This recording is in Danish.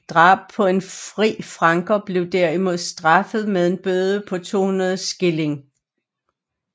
Drab på en fri franker blev derimod straffet med en bøde på 200 skilling